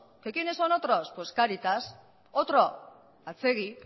que quiénes son otros caritas otro atzegi